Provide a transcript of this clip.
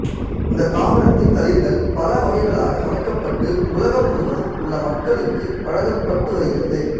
இந்த தாவரத்தின் தளிர்கள் பல வகைகளாக சமைக்கப்பட்டு உலகம் முழுவதும் உள்ள மக்களுக்கு வழங்கப்பட்டு வருகிறது